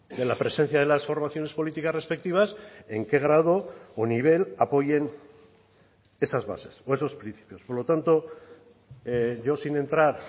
de la presencia de las formaciones políticas respectivas en qué grado o nivel apoyen esas bases o esos principios por lo tanto yo sin entrar